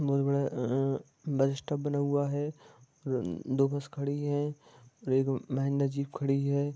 बहुत बड़ा bus stop बना हुआ है और दो बस खड़ी है और एक महेंद्र जीभ खड़ी हैं।